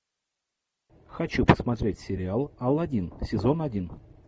хочу посмотреть сериал алладин сезон один